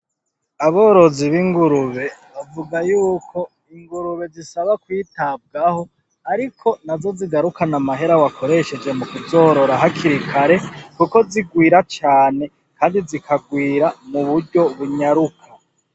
Aborozi b'ingurube bavuga yuko ingurube zisaba kw'itabwaho ariko nazo zigarukana amahera wakoresheje mukuzorora hakiri kare, kuko zigwira cane kandi zikagwira m'uburyo bunyaruka.